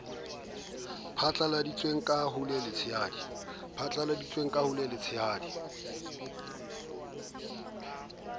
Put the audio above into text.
phatlaladitsweng ka ho le letshehadi